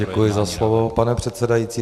Děkuji za slovo, pane předsedající.